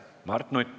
Mart Nutt.